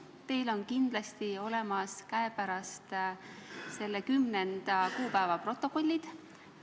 Teil on kindlasti käepärast 10. kuupäeva protokollid.